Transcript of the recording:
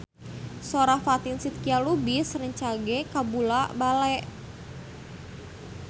Sora Fatin Shidqia Lubis rancage kabula-bale